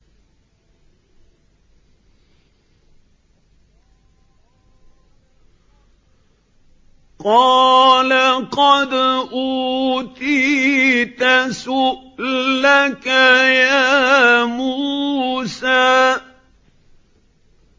قَالَ قَدْ أُوتِيتَ سُؤْلَكَ يَا مُوسَىٰ